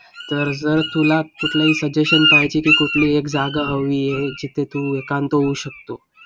तर जर तुला कुठलंही suggestion पाहिजे की? कुठली एक जागा हवी आहे? जिथे तू एकांत होऊ शकतो.